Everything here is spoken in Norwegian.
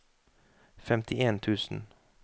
femtien tusen